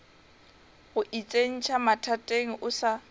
go itsentšha mathateng o sa